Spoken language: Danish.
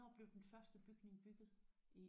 Ja. Hvornår blev den første bygning bygget?